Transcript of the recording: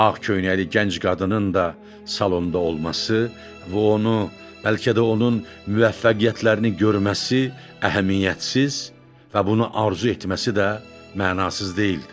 Ağ köynəkli gənc qadının da salonda olması və onu, bəlkə də onun müvəffəqiyyətlərini görməsi əhəmiyyətsiz və buna arzu etməsi də mənasız deyildi.